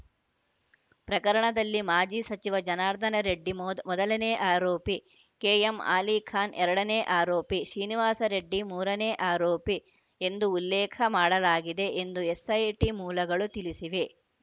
ಪ್ರಕರಣದಲ್ಲಿ ಮಾಜಿ ಸಚಿವ ಜನಾರ್ದನ ರೆಡ್ಡಿ ಮೊದ್ ಮೊದಲನೇ ಆರೋಪಿ ಕೆಎಂ ಆಲಿಖಾನ್‌ ಎರಡನೇ ಆರೋಪಿ ಶ್ರೀನಿವಾಸ್‌ ರೆಡ್ಡಿ ಮೂರನೇ ಆರೋಪಿ ಎಂದು ಉಲ್ಲೇಖ ಮಾಡಲಾಗಿದೆ ಎಂದು ಎಸ್‌ಐಟಿ ಮೂಲಗಳು ತಿಳಿಸಿವೆ